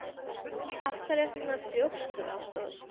Af hverju ertu svona þrjóskur, Ásdór?